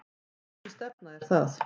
Hvernig stefna er það?